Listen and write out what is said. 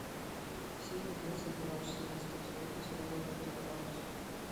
серия двадцать два четырнадцатого сезона сериала доктор хаус